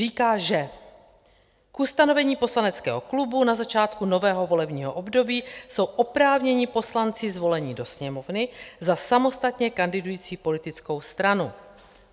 Říká, že k ustanovení poslaneckého klubu na začátku nového volebního období jsou oprávněni poslanci zvolení do Sněmovny za samostatně kandidující politickou stranu.